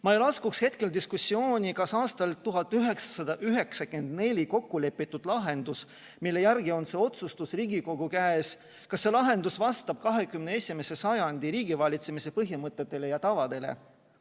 Ma ei laskuks hetkel diskussiooni, kas aastal 1994 kokkulepitud lahendus, mille järgi on see otsustus Riigikogu käes, vastab 21. sajandi riigivalitsemise põhimõtetele ja tavadele.